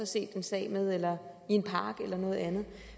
set en sag med eller i en park eller noget andet